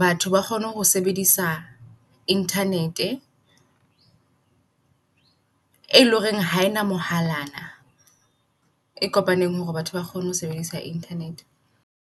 batho ba kgone ho sebedisa internet-e. E loreng haena mohalana e kopaneng hore batho ba kgone ho sebedisa internet-e.